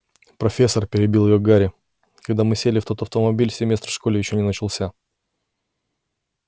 профессор перебил её гарри когда мы сели в тот автомобиль семестр в школе ещё не начался